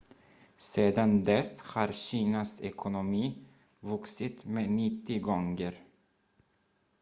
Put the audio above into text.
sedan dess har kinas ekonomi vuxit med 90 gånger